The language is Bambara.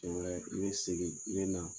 n be segin, n be na